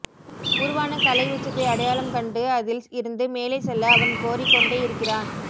உருவான கலை உச்சத்தை அடையாளம் கண்டு அதில் இருந்து மேலே செல்ல அவன் கோரிக்கொண்டே இருக்கிறான்